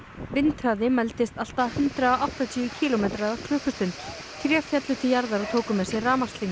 vindhraði mældist allt að hundrað og áttatíu kílómetrar á klukkustund tré féllu til jarðar og tóku með sér rafmagnslínur